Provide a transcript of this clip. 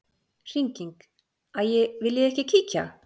Hringing: Æi viljiði ekki kíkja?